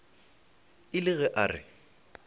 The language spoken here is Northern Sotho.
e le ge a re